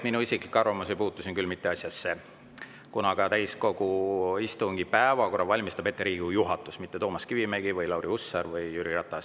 Minu isiklik arvamus ei puutu siin küll mitte asjasse, kuna täiskogu istungi päevakorra valmistab ette Riigikogu juhatus, mitte Toomas Kivimägi või Lauri Hussar või Jüri Ratas.